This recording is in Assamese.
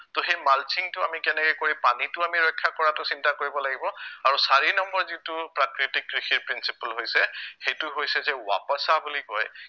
তহ সেই mulching টো আমি কেনেকে কৰি পানীটো আমি ৰক্ষা কৰাতো চিন্তা কৰিব লাগিব আৰু চাৰি number যিটো প্ৰাকৃতিৰ কৃষিৰ principle হৈছে সেইটো হৈছে যে ৱাপাচা বুলি কয়